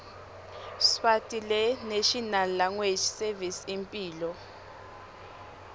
sswarticlenational language servicesimphilo